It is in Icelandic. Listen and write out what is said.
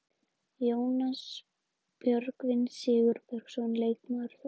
Jónas Björgvin Sigurbergsson, leikmaður Þórs.